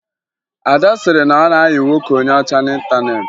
Ada sịrị na ọ na-ayị nwoke onye ọchá n'ịntaneetị